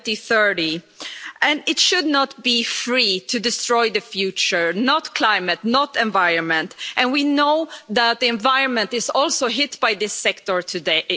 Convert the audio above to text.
2030. It should not be free to destroy the future not the climate, not the environment and we know that the environment is also hit by this sector today